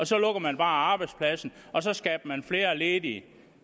så lukker man bare arbejdspladsen og så skaber man flere ledige